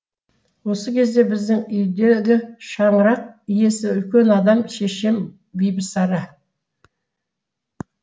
осы кезде біздің үйдегі шаңырақ иесі үлкен адам шешем бибісара